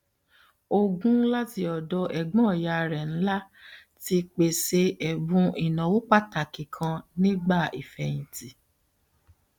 ogún láti ọdọ ẹgbọn ìyá rẹ ńlá ti pèsè ẹbùn ìnáwó pàtàkì kan nígbà ìfíyìntì